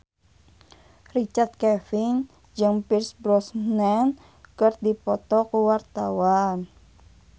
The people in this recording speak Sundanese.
Richard Kevin jeung Pierce Brosnan keur dipoto ku wartawan